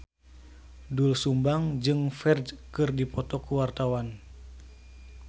Doel Sumbang jeung Ferdge keur dipoto ku wartawan